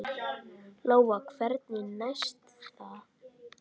Lóa: Hvernig næst það?